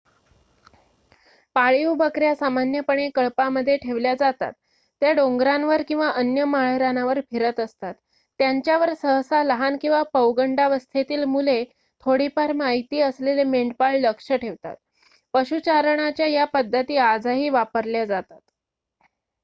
पाळीव बकऱ्या सामान्यपणे कळपामध्ये ठेवल्या जातात त्या डोंगरांवर किंवा अन्य माळरानावर फिरत असतात त्यांच्यावर सहसा लहान किंवा पौगंडावस्थेतील मुले थोडीफार माहिती असलेले मेंढपाळ लक्ष ठेवतात पशुचारणाच्या या पद्धती आजही वापरल्या जातात